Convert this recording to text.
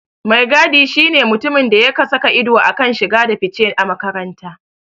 Mai gadi shi ne mutumin da yake saka ido a kan shige da fice a makaranta.